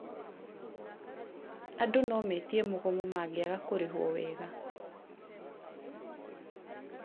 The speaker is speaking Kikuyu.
andũ nometie mũgomo mangĩaga kũrĩhwo wega